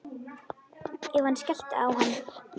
Ef hann skellti á hann.